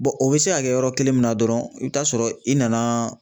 o bɛ se ka kɛ yɔrɔ kelen min na dɔrɔn i bɛ taa sɔrɔ i nana